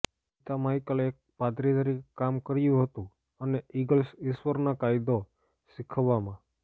પિતા માઇકલ એક પાદરી તરીકે કામ કર્યું હતું અને ઇગલ્સ ઈશ્વરના કાયદો શીખવવામાં